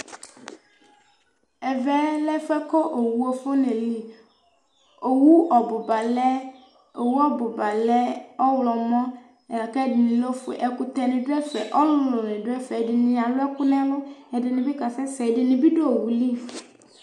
Ɛvɛ lɛ ɛfuɛ ku owu afɔna eli, owu ɔbuba lɛ, owu ɔbuba lɛ ɔwlɔmɔ, la k'ɛdini lɛ ofue, ɛkutɛni dù ɛfɛ, ɔluluni dù ɛfɛ, ɛdini alũɛku n'ɛlu, ɛdini bi k'asɛ sɛ̃, ɛdini bi dù owu li